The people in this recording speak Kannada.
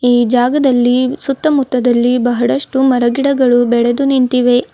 ಈ ಜಾಗದಲ್ಲಿ ಸುತ್ತಮುತ್ತದಲ್ಲಿ ಬಹಳಷ್ಟು ಮರಗಿಡಗಳು ಬೆಳೆದು ನಿಂತಿವೆ.